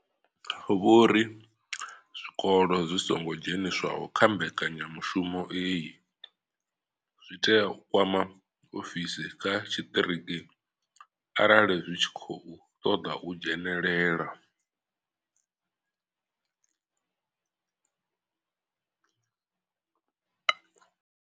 Vho ri zwikolo zwi songo dzheniswaho kha mbekanyamushumo iyi zwi tea u kwama ofisi dza tshiṱiriki arali zwi tshi khou ṱoḓa u dzhenelela.